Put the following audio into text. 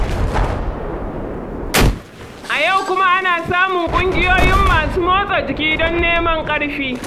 A yau kuma ana samun ƙungiyoyin masu motsa jiki don neman ƙarfi.